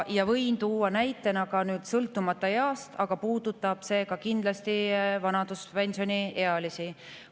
Võin tuua näite ka sõltumata east, aga puudutab see kindlasti ka vanaduspensioniealisi.